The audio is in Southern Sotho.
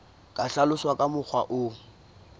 ka hlaloswa ka mokgwa o